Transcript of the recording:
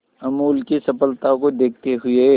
अमूल की सफलता को देखते हुए